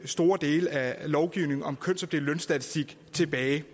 store dele af lovgivningen om kønsopdelt lønstatistik tilbage